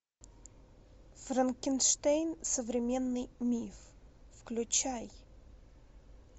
франкенштейн современный миф включай